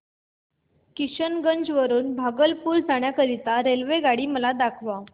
किशनगंज वरून भागलपुर जाण्या करीता मला रेल्वेगाडी दाखवा